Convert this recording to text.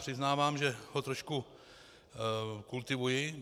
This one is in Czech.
Přiznávám, že ho trošku kultivuji.